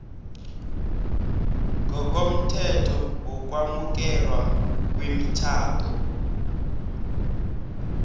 ngokomthetho wokwamukelwa kwemitjhado